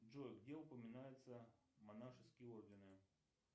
джой где упоминаются монашеские ордены